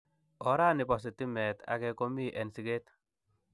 Oranibo sitimet age komi en siket.